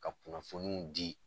Ka kunnafoniw di